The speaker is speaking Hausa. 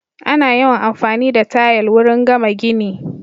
Ana yawan amfani da tayal wurin gama gini